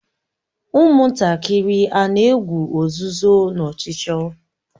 Ụmụntakịrị a na-egwu ozuzo na ọchụchọ?